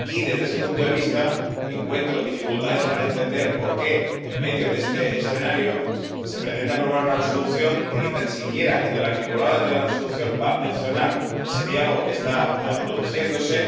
Y desde ese punto de vista, encuentro dificultades para entender por qué en medio de este escenario se pretende aprobar una Resolución que ni tan siquiera va a mencionar en su articulado ese diálogo que está produciéndose